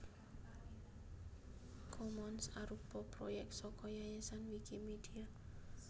Commons arupa proyèk saka Yayasan Wikimedia